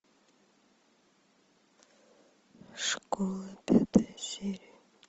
школа пятая серия